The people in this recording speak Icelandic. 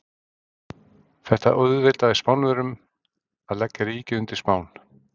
Þetta auðveldaði Spánverjum að leggja ríkið undir Spán.